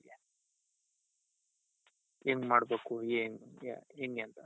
ಹೆಂಗ್ ಮಾಡ್ಬೇಕು ಏನು ಹೆಂಗೆ ಅಂತ.